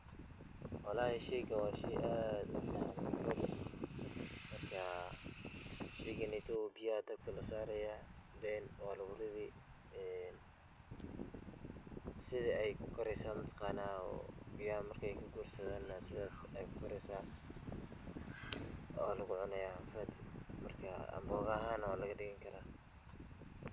Wlhi sheygan wa shey aad ufican kowdeeh marka sheyganeyto biyo aya dabka lasaraya then waluguridi. Sida ey kukareyso mataqana oo biyaha markey kagursadan sidas ayey kukareysa wanalacunaya marka amboga ahaan waladhigi kara.